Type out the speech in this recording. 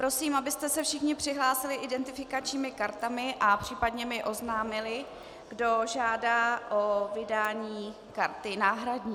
Prosím, abyste se všichni přihlásili identifikačními kartami a případně mi oznámili, kdo žádá o vydání karty náhradní.